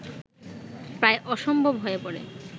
প্রায় অসম্ভব হয়ে পড়ে